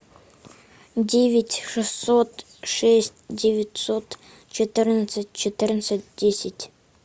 девять шестьсот шесть девятьсот четырнадцать четырнадцать десять